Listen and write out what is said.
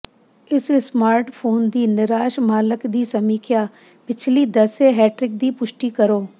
ਇਸ ਸਮਾਰਟਫੋਨ ਦੀ ਨਿਰਾਸ਼ ਮਾਲਕ ਦੀ ਸਮੀਖਿਆ ਪਿਛਲੀ ਦੱਸੇ ਹੈਟ੍ਰਿਕ ਦੀ ਪੁਸ਼ਟੀ ਕਰੋ